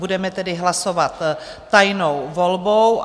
Budeme tedy hlasovat tajnou volbou.